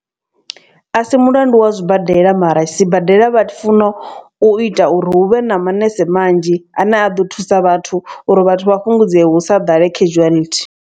A si mulandu wa zwibadela mara sibadela vha funo u ita uri huvhe na manese manzhi a ne a ḓo thusa vhathu uri vhathu vha fhungudzee hu sa ḓale casualty.